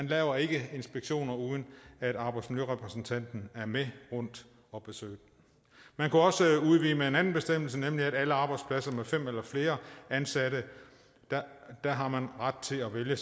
laver inspektioner uden at arbejdsmiljørepræsentanten er med rundt på besøget man kunne også udvide med en anden bestemmelse nemlig at alle arbejdspladser med fem eller flere ansatte har ret til at vælge